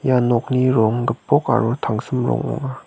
ia nokni rong gipok aro tangsim rong ong·a.